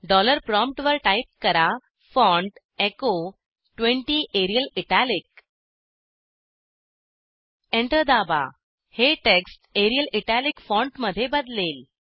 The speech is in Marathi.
डॉलर प्रॉम्प्टवर टाईप करा font echo 20 Arial italic enter दाबा हे टेक्स्ट एरियल इटालिक फॉन्टमध्ये बदलेल